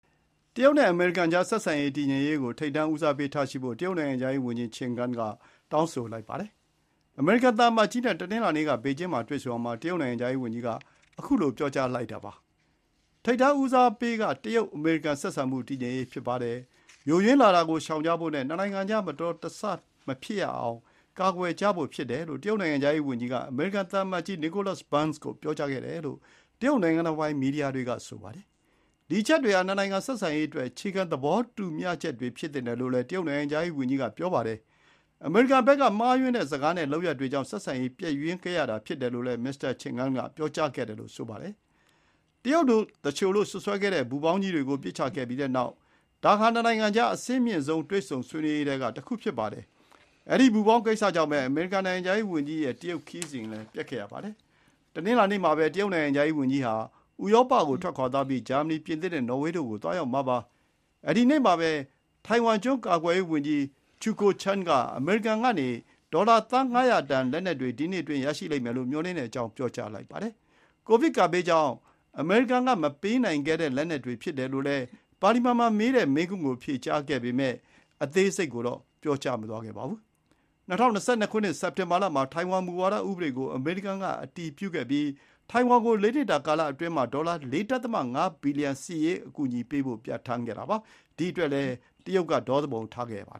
တရုတ်နဲ့အမေရိကန်ကြားဆက်ဆံရေး တည်ငြိမ်မှုကို ထိပ်တန်းဦးစားပေးထားရှိဖို့ တရုတ်နိုင်ငံခြားရေးဝန်ကြီး ချင်ဂန်းက တောင်းဆိုလိုက်ပါတယ်။ အမေရိကန်သံအမတ်ကြီးနဲ့ တနင်္လာနေ့က ဘေကျင်းမှာတွေ့ဆုံရာမှာ တရုတ်နိုင်ငံခြားရေးဝန်ကြီးက ခုလို ပြောကြားလိုက်တာပါ။ 'ထိပ်တန်းဦးစားပေးက တရုတ်-အမေရိကန်ဆက်ဆံရေး တည်ငြိမ်ဖို့ ဖြစ်ပါတယ်။ ယိုယွင်းလာတာကို ရှောင်ကြဖို့နဲ့ နှစ်နိုင်ငံကြား မတော်တဆမဖြစ်ရအောင် ကာကွယ်ဖို့' ဖြစ်တယ်လို့ တရုတ်နိုင်ငံခြားရေးဝန်ကြီးက အမေရိကန်သံအမတ်ကြီး Nicholas Burns ကို ပြောကြားခဲ့တယ်လို့ တရုတ်နိုင်ငံတော်ပိုင် မီဒီယာတွေက ဆိုပါတယ်။ ဒီ အချက်တွေဟာ နှစ်နိုင်ငံဆက်ဆံရေးအတွက် အခြေခံသဘောတူမျှချက်တွေဖြစ်သင့်တယ်လို့လည်း တရုတ်နိုင်ငံခြားရေးဝန်ကြီးက ပြောပါတယ်။ အမေရိကန်ဘက်က မှားယွင်းတဲ့စကားနဲ့ လုပ်ရပ်တွေကြောင့် ဆက်ဆံရေးပျက်ယွင်းခဲ့ရတာဖြစ်တယ်လို့လည်း မစ္စတာချင်ဂန်းက ပြောခဲ့တယ်လို့ ဆိုပါတယ်။ တရုတ်သူလျှိုလို့စွပ်စွဲခဲ့တဲ့ပူဖောင်းကြီးတွေကို ပစ်ချခဲ့ပြီးတဲ့နောက် ဒါဟာ နှစ်နိုင်ငံကြား အဆင့်မြင့်ဆုံးတွေ့ဆုံဆွေးနွေးရေးထဲက တခု ဖြစ်ပါတယ်။ အဲဒီပူဖောင်းကိစ္စ္စကြောင့် အမေရိကန်နိုင်ငံခြားရေးဝန်ကြီးရဲ့ တရုတ်ခရီးစဉ် ပျက်ခဲ့ရပါတယ်။ တနင်္လာနေ့မှာပဲ တရုတ်နိုင်ငံခြားရေးဝန်ကြီးဟာ ဥရောပကိုထွက်ခွါသွားပြီး ဂျာမနီ၊ ပြင်သစ်၊ နော်ဝေးတို့ကို ခရီးဆက်မှာပါ။ အဲဒီနေ့မှာပဲ ထိုင်ဝမ်ကျွန်းကာကွယ်ရေးဝန်ကြီး ချူကိုချန်း Chiu Kuo-cheng က အမေရိကန်ကနေ ဒေါ်လာ သန်း ၅၀၀ တန် လက်နက်တွေ ဒီနှစ်အတွင်းရရှိလိမ့်မယ်လို့ မျှော်လင့်ကြောင်း ပြောလိုက်ပါတယ်။ ကိုဗစ်ကပ်ဘေးကြောင့် အမေရိကန်က မပေးပို့နိုင်ခဲ့တဲ့ လက်နက်တွေဖြစ်တယ်လို့ ပါလီမန်မှာမေးတဲ့ မေးခွန်း ကို ဖြေကြားခဲ့ပေမဲ့ အသေးစိတ်ကိုတော့ ပြောကြားမသွားပါဘူး။ ၂၀၂၂ ခုနှစ် စက်တင်ဘာလမှာ ထိုင်ဝမ်မူဝါဒ ဥပဒေကို အမေရိကန်က အတည်ပြုခဲ့ပြီး ထိုင်ဝမ်ကို ၄ နှစ်တာကာလအတွင်းမှာ ဒေါ်လာ ၄.၅ ဘီလီယံ စစ်ရေးအကူအညီပေးဖို့ ပြဌာန်းခဲ့ပါတယ်။ ဒီ အတွက်လည်း တရုတ်က ဒေါသူပုန်ထခဲ့တာပါ။